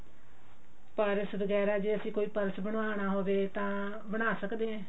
ਪਰ ਇਸ ਤੋਂ ਵਗੇਰਾ ਅਸੀਂ ਕੋਈ purse ਬਨਵਾਉਣਾ ਹੋਵੇ ਤਾਂ ਬਣਾ ਸਕਦੇ ਹੋ